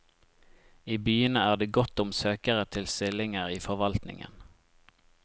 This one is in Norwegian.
I byene er det godt om søkere til stillinger i forvaltningen.